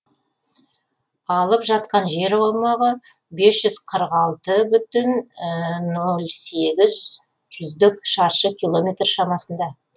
алып жатқан жер аумағы бес жүз қырық алты бүтін ноль сегіз жүздік шаршы километр шамасында